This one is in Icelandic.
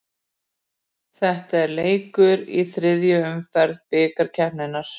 Þetta er leikur í þriðju umferð bikarkeppninnar.